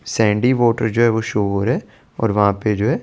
Sandy water जो है show हो रहा है और वहा पे जो है ।